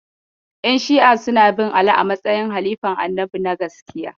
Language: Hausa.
Yan Shi'a suna bin Ali a matsayin halifan Annabi na gaskiya